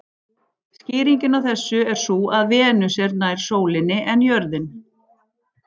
Skýringin á þessu er sú að Venus er nær sólinni en jörðin.